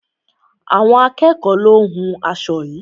Àwọn akẹ́ẹ̀kọ lo hún aṣo yií.